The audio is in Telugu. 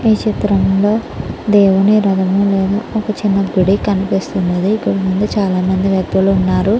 ఈ చిత్రం లో దేవుని రధమువెనక ఒక చిన్న గుడి కనిపిస్తునది ఇక్కడ ముందు చాల మంది భక్తులు ఉన్నారు.